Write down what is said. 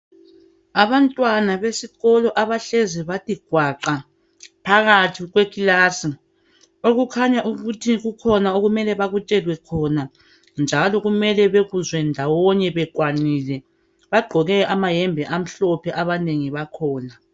Abantwana besikolo abahlezi bathi gwaqa phakathi kwekilasi okukhanya ukuthi kukhona okumele bakutshelwe khona njalo kumele bekuzwe ndawonye bekwanile. Bagqoke amayembe amhlophe abanengi bakhona.